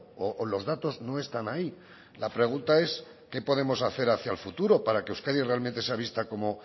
o los datos no están ahí la pregunta es qué podemos hacer hacia el futuro para que euskadi realmente sea vista como